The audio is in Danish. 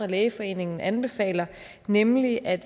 lægeforeningen anbefaler nemlig at